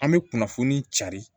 An bɛ kunnafoni cari